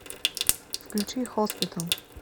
включи хоспитал